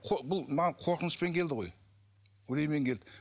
бұл маған қорқынышпен келді ғой үреймен келді